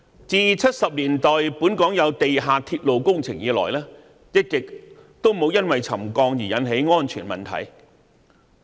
自1970年代本港有地下鐵路工程以來，一直也沒有因為沉降而引起安全問題。